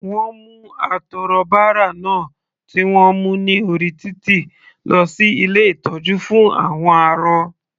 Wọ́n mú atọrọbárà náà tí wọ́n mú ní orí títì lọ sí ilé ìtọ́jú fún àwọn arọ.